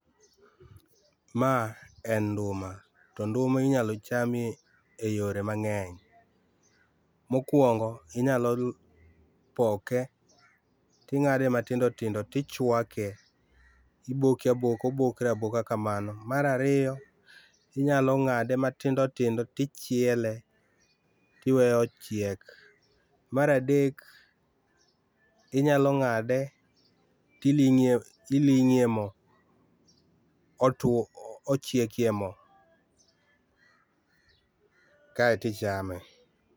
maa en nduma to nduma inyalo cham e yore mangeny, mokuongo inyalo poke tingade matindo tindo tichwake, iboke aboka, obokre aboka kamano. Mar ariyo inyalo ng'ade matindo tindo tichiele tiweye ochiek, mar adek inyalo ng'ado tiling'e iling'e e moo ,otuo, ochiek e moo kaito ichame